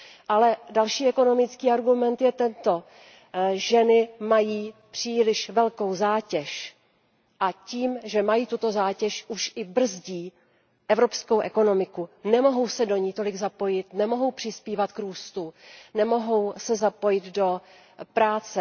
Ale další ekonomický argument je tento ženy mají příliš velkou zátěž a tím, že mají tuto zátěž, už i brzdí evropskou ekonomiku, nemohou se do ní tolik zapojit, nemohou přispívat k růstu, nemohou se zapojit do práce.